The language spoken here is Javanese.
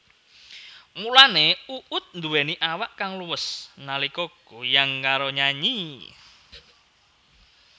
Mulane Uut nduwéni awak kang luwes nalika goyang karo nyanyi